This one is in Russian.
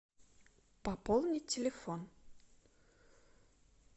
пополнить телефон